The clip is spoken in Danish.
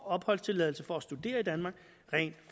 opholdstilladelse for at studere i danmark rent